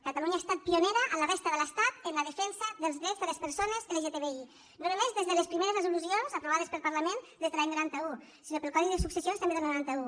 catalunya ha estat pionera a la resta de l’estat en la defensa dels drets de les persones lgtbi no només des de les primeres resolucions aprovades pel parlament des de l’any noranta un sinó pel codi de successions també del noranta un